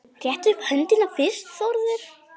Rétta upp höndina fyrst Þórður.